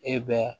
E bɛ